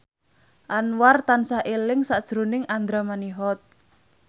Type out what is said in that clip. Anwar tansah eling sakjroning Andra Manihot